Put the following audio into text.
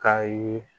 K'a ye